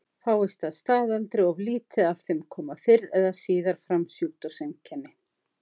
Fáist að staðaldri of lítið af þeim koma fyrr eða síðar fram sjúkdómseinkenni.